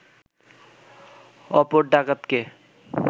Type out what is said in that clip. অপর ডাকাতকে